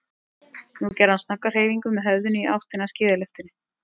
Nú gerði hann snögga hreyfingu með höfðinu í áttina að skíðalyftunni.